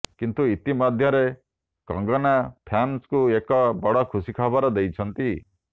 କିନ୍ତୁ ଇତିମଧ୍ୟରେ କଙ୍ଗନା ଫ୍ୟାନ୍ଙ୍କୁ ଏକ ବଡ଼ ଖୁସି ଦେଇଛନ୍ତି